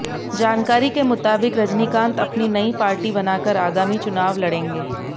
जानकारी के मुताबिक रजनीकांत अपनी नई पार्टी बनाकर आगामी चुनाव लड़ेंगे